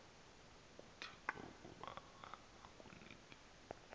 kuthixo ukuba akunike